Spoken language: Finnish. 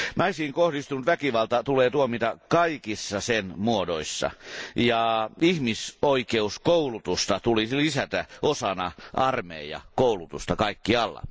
Naisiin kohdistunut väkivalta tulee tuomita kaikissa sen muodoissa, ja ihmisoikeuskoulutusta tulisi lisätä osana armeijakoulutusta kaikkialla.